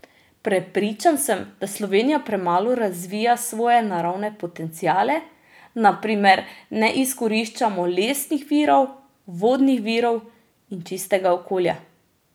Prepričan sem, da Slovenija premalo razvija svoje naravne potenciale, na primer ne izkoriščamo lesnih virov, vodnih virov in čistega okolja.